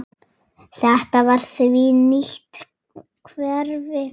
Þetta var því nýtt hverfi.